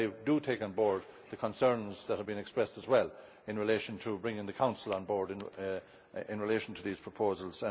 I take on board the concerns that have been expressed, as well, in relation to bringing the Council on board in relation to these proposals.